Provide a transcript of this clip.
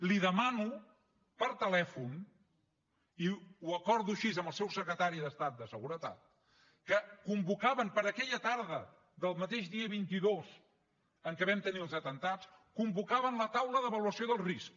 li ho demano per telèfon i ho acordo així amb el seu secretari d’estat de seguretat que convocaven per a aquella tarda del mateix dia vint dos en què vam tenir els atemptats convocaven la taula d’avaluació del risc